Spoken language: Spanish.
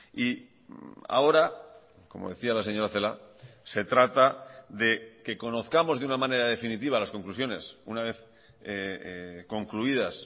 y ahora como decía la señora celaá se trata de que conozcamos de una manera definitiva las conclusiones una vez concluidas